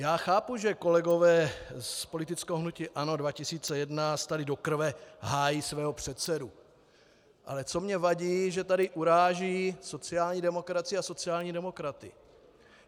Já chápu, že kolegové z politického hnutí ANO 2011 tady do krve hájí svého předsedu, ale co mně vadí, že tady uráží sociální demokracii a sociální demokraty.